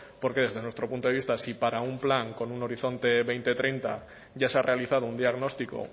por lo que desde nuestro punto de vista si para un plan con un horizonte dos mil treinta ya se ha realizado un diagnóstico